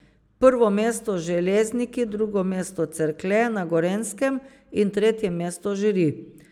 Prvo mesto Železniki, drugo mesto Cerklje na Gorenjskem in tretje mesto Žiri.